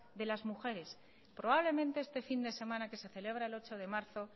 de las mujeres probablemente este fin de semana que se celebra el ocho de marzo